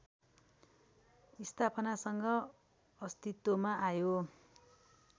स्थापनासँग अस्तित्वमा आयो